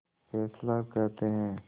Fessler कहते हैं